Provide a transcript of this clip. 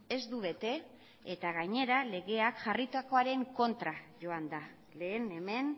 ez du bete eta gainera legea jarritakoaren kontra joan da lehen hemen